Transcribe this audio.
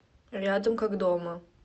рядом как дома